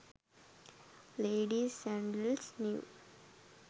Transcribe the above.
ladies sandles new